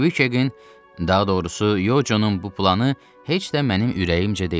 Kviketin, daha doğrusu Yoconun bu planı heç də mənim ürəyimcə deyildi.